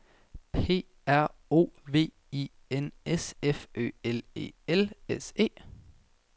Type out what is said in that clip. P R O V I N S F Ø L E L S E